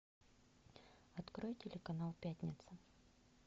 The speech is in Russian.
открой телеканал пятница